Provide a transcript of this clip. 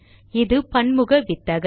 இது பன்முக வித்தகர்